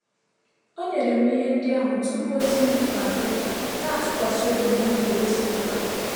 O nyere m ihe ndị ahụ tupu ozi mbufe abịa, na-atụkwasị obi na ọ ga-egosipụta.